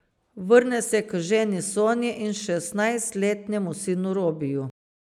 Vrne se k ženi Sonji in šestnajstletnemu sinu Robiju.